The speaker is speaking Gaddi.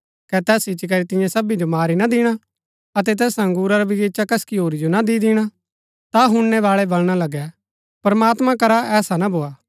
कै तैस इच्ची करी तियां सबी जो मारी ना दिणा अतै तैस अंगुरा रा बगीचा कसकी होरी जो ना दि दिणा ता हुणनैबाळै वलणा लगै प्रमात्मां करा ऐसा ना भोआ